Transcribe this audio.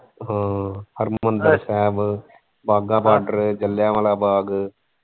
ਹਾਂ Harmandir Sahib Wagah border Jallianwala ਬਾਗ।